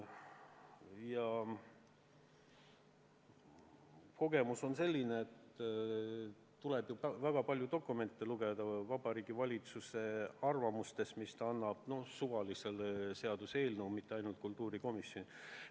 Kogemus aga on selline, et tuleb väga palju dokumente lugeda, ka Vabariigi Valitsuse arvamusi, mis ta annab suvalistele seaduseelnõudele, mitte ainult kultuurikomisjoni omadele.